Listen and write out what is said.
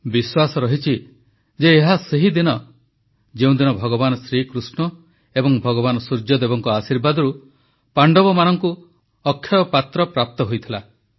ବିଶ୍ୱାସ ରହିଛି ଯେ ଏହା ସେହି ଦିନ ଯେଉଁଦିନ ଭଗବାନ ଶ୍ରୀକୃଷ୍ଣ ଏବଂ ଭଗବାନ ସୂର୍ଯ୍ୟଦେବଙ୍କ ଆଶୀର୍ବାଦରୁ ପାଣ୍ଡବମାନଙ୍କୁ ଅକ୍ଷୟ ପାତ୍ର ପ୍ରାପ୍ତ ହୋଇଥିଲା